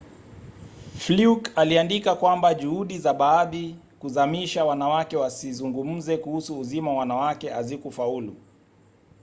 fluke aliandika kwamba juhudi za baadhi kuzamisha wanawake wasizungumze kuhusu uzima wa wanawake hazikufaulu